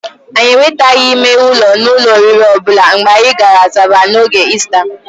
Anyị enwetaghị ime ụlọ n'ụlọ oriri ọbụla mgbe anyị gara Asaba n'oge Ista.